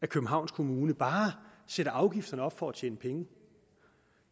københavns kommune bare sætter afgifterne op for at tjene penge